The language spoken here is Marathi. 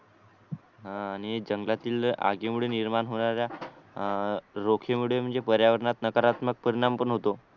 हा आणि जंगलातील आगीमुळे निर्माण होणाऱ्या रोखे मुळे म्हणजे पर्यावरणात नकारात्मक परिणाम पण होतो